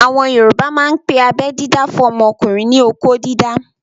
Àwọn yoòbá máa n pe abẹ́ dídá fún ọmọkùnrin ní "okó dídá"